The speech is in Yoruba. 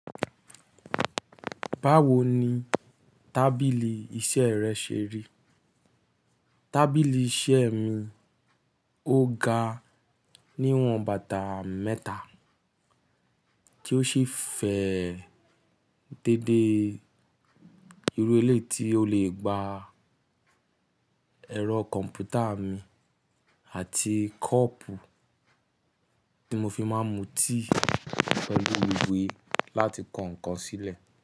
Báwo ni tábìlì iṣẹ́ rẹ ṣe rí? Tábìlì iṣẹ́ mi ó ga, ní ìwọ̀n bàtà mẹ́ta, tí ó sì fẹ́ dédé irú ẹlẹ́ ti ó lè gba ẹ̀rọ kọ̀m̀pútà mi àti kọ́ọ́pù tí mo fi máa ń mu tíì pelu iwe láti kọ ǹkan sílẹ̀